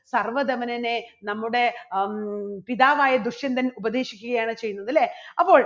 സർവ്വധമനനെ നമ്മുടെ ഹം പിതാവായ ദുഷ്യന്തൻ ഉപദേശിക്കുകയാണ് ചെയ്യുന്നത്. അല്ലേ? അപ്പോൾ